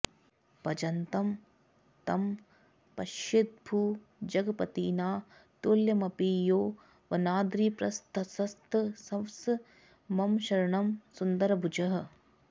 भजन्तं तं पश्येद्भुजगपतिना तुल्यमपि यो वनाद्रिप्रस्थस्थस्स मम शरणं सुन्दरभुजः